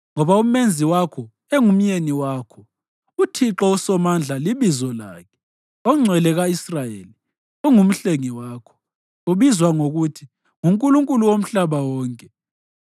Ngoba uMenzi wakho engumyeni wakho, uThixo uSomandla libizo lakhe oNgcwele ka-Israyeli unguMhlengi wakho; ubizwa ngokuthi nguNkulunkulu womhlaba wonke.